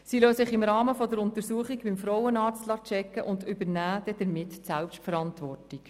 Sie lassen sich im Rahmen der Untersuchung beim Frauenarzt checken und übernehmen damit Selbstverantwortung.